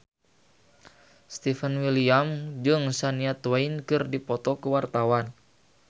Stefan William jeung Shania Twain keur dipoto ku wartawan